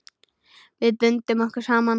Við bundum okkur saman.